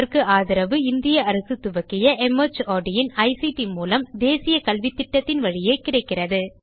இதற்கு ஆதரவு இந்திய அரசு துவக்கிய மார்ட் இன் ஐசிடி மூலம் தேசிய கல்வித்திட்டத்தின் வழியே கிடைக்கிறது